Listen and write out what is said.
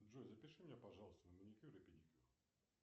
джой запиши меня пожалуйста на маникюр и педикюр